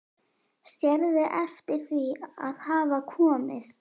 Sérðu eftir því að hafa komið?